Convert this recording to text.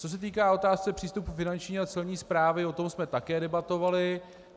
Co se týká otázky přístupu Finanční a Celní správy, o tom jsme také debatovali.